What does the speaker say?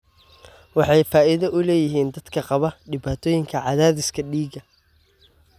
Waxay faa'iido u leeyihiin dadka qaba dhibaatooyinka cadaadiska dhiigga.